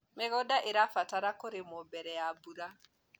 mĩgũnda irabatara kũrimwo mbere ya mbura